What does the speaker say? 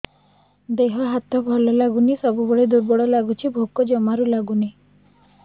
ଦେହ ହାତ ଭଲ ଲାଗୁନି ସବୁବେଳେ ଦୁର୍ବଳ ଲାଗୁଛି ଭୋକ ଜମାରୁ ଲାଗୁନି